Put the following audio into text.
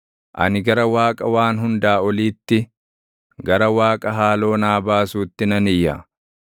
Ani gara Waaqa Waan Hundaa Oliitti, gara Waaqa haaloo naa baasuutti nan iyya.